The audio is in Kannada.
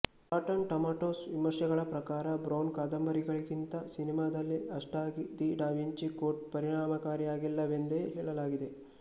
ರಾಟನ್ ಟೊಮೊಟೊಸ್ ವಿಮರ್ಶೆಗಳ ಪ್ರಕಾರ ಬ್ರೌನ್ ಕಾದಂಬರಿಯಲ್ಲಿಗಿಂತ ಸಿನೆಮಾದಲ್ಲಿ ಅಷ್ಟಾಗಿ ದಿ ಡ ವಿಂಚಿ ಕೋಡ್ ಪರಿಣಾಮಕಾರಿಯಾಗಿಲ್ಲವೆಂದೇ ಹೇಳಲಾಗಿದೆ